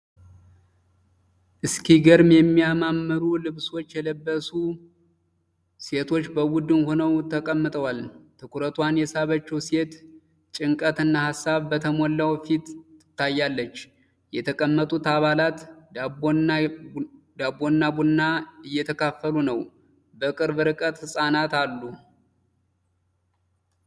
እስኪገርም የሚያማምሩ ልብሶች የለበሱ ሴቶች በቡድን ሆነው ተቀምጠዋል። ትኩረቷን የሳበችው ሴት ጭንቀት እና ሀሳብ በተሞላው ፊት ትታያለች። የተቀመጡት አባላት ዳቦና ቡና እየተካፈሉ ነው። በቅርብ ርቀት ህጻናት አሉ።